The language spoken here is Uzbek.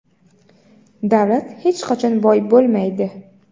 davlat hech qachon boy bo‘lmaydi.